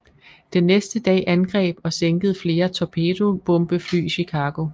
Den næste dag angreb og sænkede flere torpedobombefly Chicago